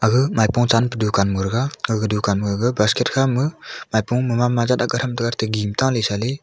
ah maipho chang pha dukan moraga aga dunkan mogaga basket khama maipho mama jat chaley.